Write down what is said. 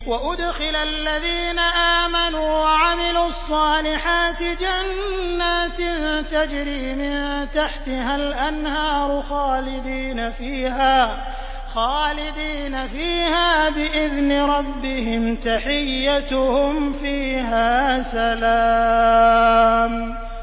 وَأُدْخِلَ الَّذِينَ آمَنُوا وَعَمِلُوا الصَّالِحَاتِ جَنَّاتٍ تَجْرِي مِن تَحْتِهَا الْأَنْهَارُ خَالِدِينَ فِيهَا بِإِذْنِ رَبِّهِمْ ۖ تَحِيَّتُهُمْ فِيهَا سَلَامٌ